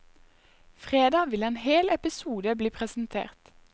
Fredag vil en hel episode bli presentert.